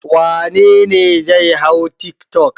Wane ne zai hau tiktok?